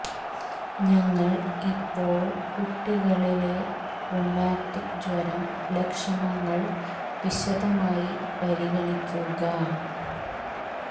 ഞങ്ങൾ ഇപ്പോൾ കുട്ടികളെ ലെ റുമാറ്റിക് ജ്വരം ലക്ഷണങ്ങൾ വിശദമായി പരിഗണിക്കുക